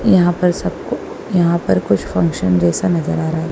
यहां पर सबको यहां पर कुछ फंक्शन जैसा नजर आ रहा है।